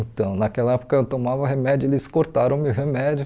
Então naquela época eu tomava remédio e eles cortaram meu remédio.